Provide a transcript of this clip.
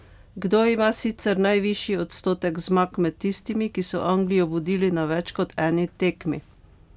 Kdo ima sicer najvišji odstotek zmag med tistimi, ki so Anglijo vodili na več kot eni tekmi?